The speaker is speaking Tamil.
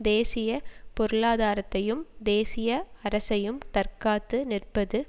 தேசிய பொருளாதாரத்தையும் தேசிய அரசையும் தற்காத்து நிற்பது